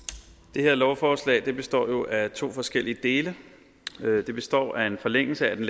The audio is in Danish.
det her lovforslag består jo af to forskellige dele det består af en forlængelse af den